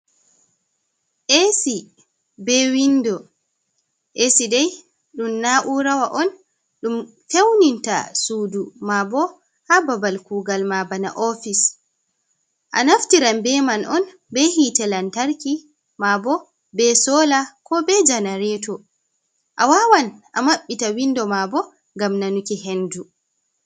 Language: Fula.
Ac be windo ac dai ɗum naura on ɗum fewninta sudu mabo ha babal kugal ma bana ofis a naftiran beman on be hitte lantarki mabo be sola ko be janareto a wawan a maɓɓita windo ma bo gam nanuki hendu.